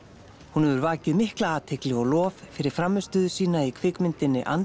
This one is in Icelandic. hún hefur vakið mikla athygli og lof fyrir frammistöðu sína í kvikmyndinni